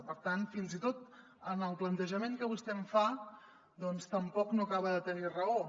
per tant fins i tot en el plantejament que vostè em fa doncs tampoc no acaba de tenir raó